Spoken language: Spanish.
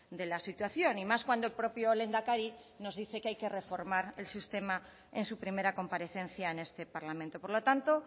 de la situación y más cuando el propio lehendakari nos dice que hay que reformar el sistema en su primera comparecencia en este parlamento por lo tanto